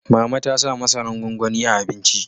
Mama ta sa masaran gwanwani a abinci